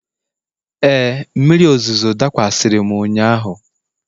Ee, mmiri ozuzo dakwasịrị m ụnyahụ.